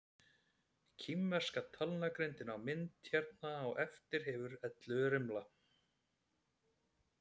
Kínverska talnagrindin á myndinni hér á eftir hefur ellefu rimla.